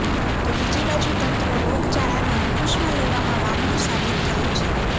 તો બીજી બાજુ તંત્ર રોગચાળાને અંકુશમાં લેવામાં વામણું સાબિત થયું છે